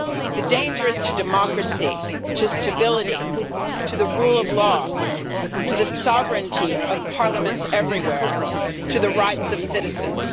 The danger is to democracy, to stability, to the rule of law, to the sovereignty of parliaments everywhere and to the rights of citizens.